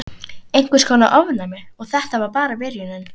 Einhvers konar ofnæmi. Og þetta var bara byrjunin.